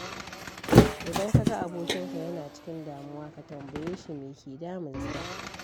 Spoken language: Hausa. Idan ka ga abokinka yana cikin damuwa, ka tambaye shi me ke damunsa.